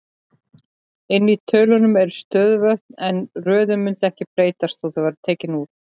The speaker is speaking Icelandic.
Inni í tölunum eru stöðuvötn, en röðin mundi ekki breytast þótt þau væru tekin út.